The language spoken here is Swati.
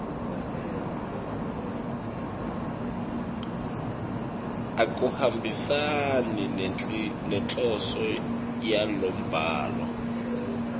akuhambisani nenhloso yalombhalo